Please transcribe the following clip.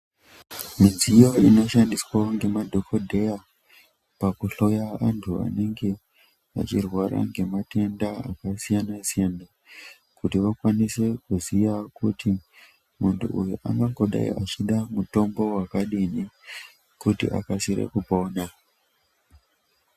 Midziyo inoshandiswawo ngemadhokodheya pakuhloya vantu vanenge veirwara ngematenda akasiyana-siyana kuti vakawanise kuziya kuti muntu uyu ungangodaro eida mutombo wakadini kuti akasire kupona.